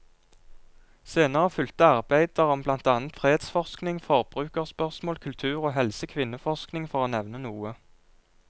Senere fulgte arbeider om blant annet fredsforskning, forbrukerspørsmål, kultur og helse, kvinneforskning, for å nevne noe.